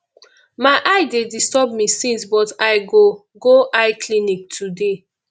my eye dey disturb me since but i go go eye clinic today